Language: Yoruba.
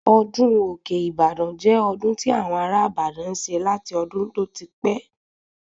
Ọdún òkè - Ibadan jẹ́ ọdún tí àwọn ará ìbàdàn n ṣe láti ọdún tó ti pẹ́